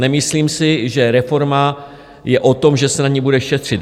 Nemyslím si, že reforma je o tom, že se na ní bude šetřit.